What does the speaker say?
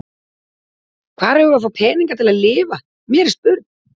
Hvar eigum við að fá peninga til að lifa, mér er spurn.